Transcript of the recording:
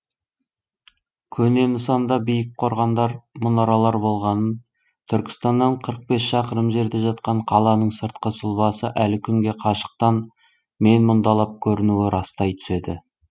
көне нысанда биік қорғандар мұнаралар болғанын түркістаннан қырық бес шақырым жерде жатқан қаланың сыртқы сұлбасы әлі күнге қашықтан мен мұндалап көрінуі растай түседі